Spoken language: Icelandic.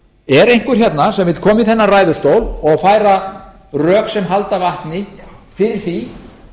er einhver hérna sem vill koma í þennan ræðustól og færa rök sem halda vatni fyrir því